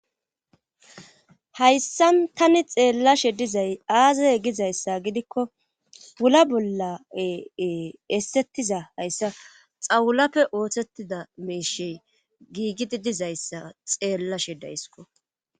Hayssa tani xeellashe dizay aazay gizayssa gidikko ula bollae essettiza hayssa xawulappe oothettida meeshey giigidi dizayssa xeellashe daysiko.